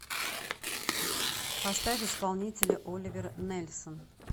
поставь исполнителя оливер нельсон